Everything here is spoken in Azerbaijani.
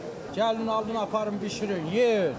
Gəlin alıb aparın bişirin yeyin.